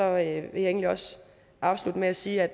jeg egentlig også afslutte med at sige at